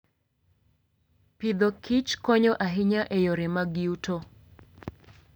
Agriculture and Foodkonyo ahinya e yore mag yuto.